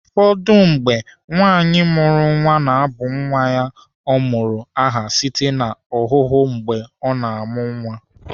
Ụfọdụ mgbe, nwaanyị mụrụ nwa na-abụ nwa ọ mụrụ aha site n'ahụmahụ mgbe ọ na-amụ nwa.